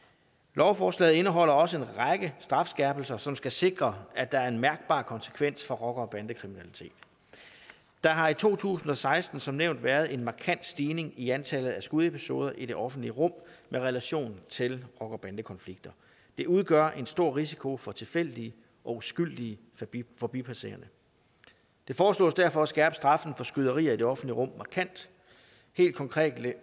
lovforslaget indeholder også en række strafskærpelser som skal sikre at der er en mærkbar konsekvens for rocker og bandekriminalitet der har i to tusind og seksten som nævnt været en markant stigning i antallet af skudepisoder i det offentlige rum med relation til rocker bande konflikter det udgør en stor risiko for tilfældige og uskyldige forbipasserende det foreslås derfor at skærpe straffen for skyderier i det offentlige rum markant helt konkret